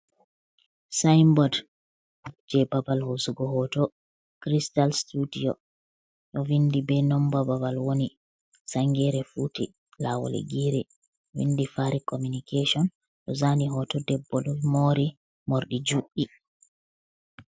Sainbod jei babal hoosugo hooto cristal studiyo ɗo vindi be nonba babal woni sangere futi, lawol girei vindi fari communication, ɗo zaani hoto debbo ɗo moori morɗi juɗɗi.